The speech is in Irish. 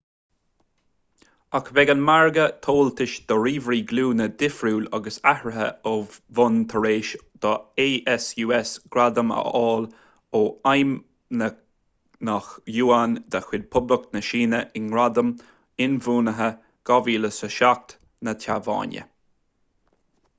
ach beidh an margadh tomhaltais do ríomhairí glúine difriúil agus athraithe ó bhonn tar éis do asus gradam a fháil ó feidhmeannach yuan de chuid poblacht na síne i ngradam inbhuanaithe 2007 na téaváine